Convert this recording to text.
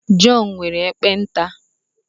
Jọn nwere ekpenta